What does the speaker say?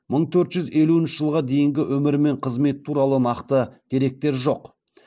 мың төрт жүз елуінші жылға дейінгі өмірі мен қызметі туралы нақты деректер жоқ